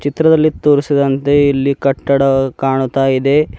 ಚಿತ್ರದಲ್ಲಿ ತೋರಿಸಿದಂತೆ ಇಲ್ಲಿ ಕಟ್ಟಡ ಕಾಣುತ್ತಾ ಇದೆ.